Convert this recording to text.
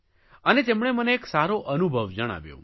અને તેમણે મને એક સારો અનુભવ જણાવ્યો